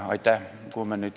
Aitäh!